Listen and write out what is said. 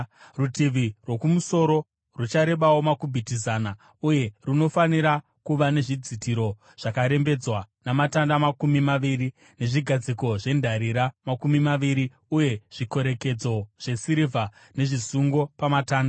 Rutivi rwokumusoro rucharebawo makubhiti zana uye runofanira kuva nezvidzitiro zvakarembedzwa, namatanda makumi maviri, nezvigadziko zvendarira makumi maviri, uye zvikorekedzo zvesirivha nezvisungo pamatanda.